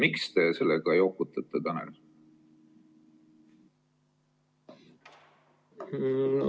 Miks te sellega jokutate, Tanel?